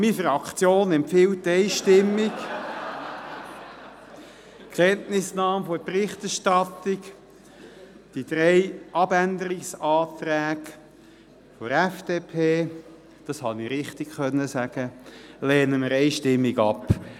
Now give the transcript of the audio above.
Meine Fraktion empfiehlt einstimmig Kenntnisnahme der Berichterstattung, die drei Abänderungsanträge der FDP – das konnte ich richtig sagen – lehnen wir einstimmig ab.